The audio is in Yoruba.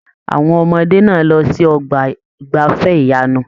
Àwọn ọmọdé náà lọ sí ọgbà igbafẹ̀ ìyanu.